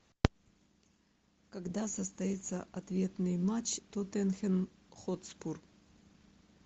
когда состоится ответный матч тоттенхэм хотспур